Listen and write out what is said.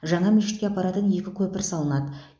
жаңа мешітке апаратын екі көпір салынады